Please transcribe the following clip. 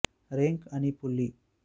rank அணி புள்ளி